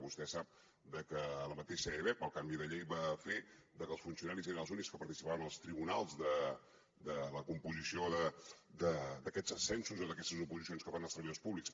vostè sap que la mateixa ebep pel canvi de llei va fer que els funcionaris eren els únics que participaven als tribunals de la composició d’aquests ascensos o d’aquestes oposicions que fan els treballadors públics